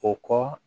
O kɔ